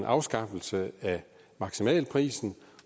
afskaffelse af maksimalprisen